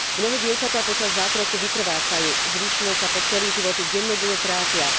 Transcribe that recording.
Mnohé dievčatá počas zákroku vykrvácajú, zvyšné sa po celý život dennodenne trápia.